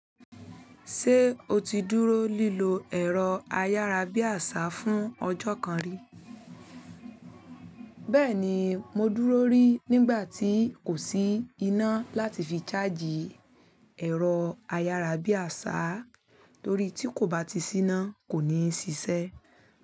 Se oti dúró lilo ẹrọ ayarabiasa fún ọjọ kan ri? Bẹ́ẹ̀ ni, mo dúró rí nígbà tí kò sí iná láti fi ṣáàjì ẹ̀rọ ayárabíàṣá torí tí kò bá ti sí iná kò ní ṣiṣẹ́.